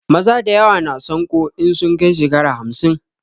Maza dayawa na sanƙo in sun kai shekara hamsin